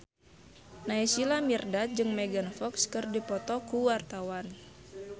Naysila Mirdad jeung Megan Fox keur dipoto ku wartawan